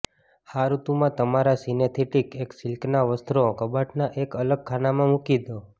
આ ઋતુમાં તમારા સિન્થેટિક કે સિલ્કના વસ્ત્રો કબાટના એક અલગ ખાનામાં મૂકી દો